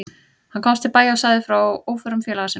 Hann komst til bæja og sagði frá óförum félaga sinna.